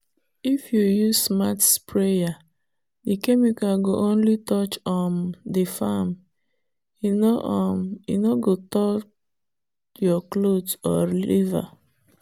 if you use smart sprayer the chemical go only touch um the farm—in no um go tough your clothe or river.